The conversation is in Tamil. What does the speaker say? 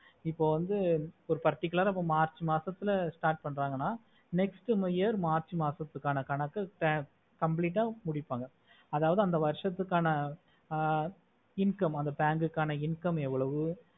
இப்போ வந்து particular ஆஹ் march மாசத்துல start பண்றங்கனா next year march மாசத்துக்கான கணக்கு complete ஆஹ் முடிப்பாங்க அதாவது அந்த வர்ஷடுகுக்கான ஆஹ் income அந்த bank குகனே income ஏவோளவு